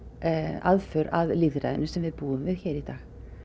aðför að lýðræðinu sem við búum við í dag